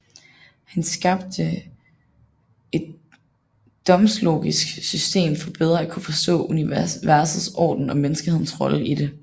Han skabte et domslogisk system for bedre at kunne forstå universets orden og menneskehedens rolle i det